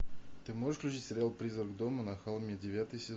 ты можешь включить сериал призрак дома на холме девятый сезон